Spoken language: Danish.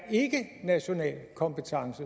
national kompetence